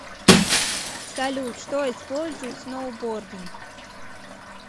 салют что использует сноубординг